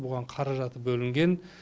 бұған қаражаты бөлінген